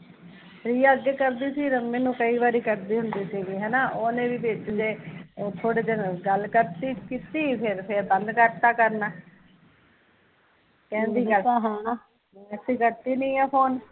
ਰੀਆ ਅੱਗੇ ਕਰਦੀ ਸੀ ਰਮਮੀ ਨੂ ਕਈ ਵਾਰੀ ਕਰਦੀ ਹੁੰਦੀ ਸੀਗੀ ਹੈਨਾ ਓਹਨੇ ਵੀ ਵਿੱਚ ਜਹੇ ਥੋੜੇ ਦਿਨ ਗੱਲ ਕਰਤੀ ਕੀਤੀ ਫੇਰ ਬੰਦ ਕਰਤਾ ਕਰਨਾ ਕਹਿੰਦੀ ਕਰਦੀ ਨੀ ਐ ਫ਼ੋਨ